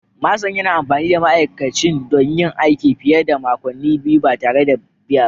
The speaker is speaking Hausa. Manson yana amfani da ma'aikacin don yin aiki fiye da makonni biyu ba tare da biya ba